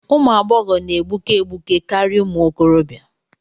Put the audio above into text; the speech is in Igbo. Ụmụ agbọghọ na-egbuke egbuke karịa ụmụ okorobịa.